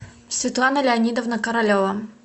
светлана леонидовна королева